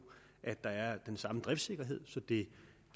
at der er den samme driftssikkerhed det